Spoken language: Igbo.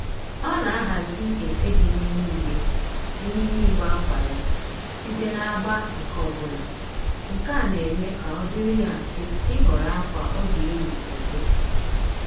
Ọ na-ahazi efe dị n'ime igbe dị n'ime igbe akwa ya site n'agba nke ọbụla, nke a na-eme ka ọ dịrị ya mfe ịhọrọ akwa ọ ga-eyi kwa ụtụtụ